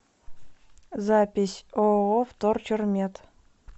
запись ооо вторчермет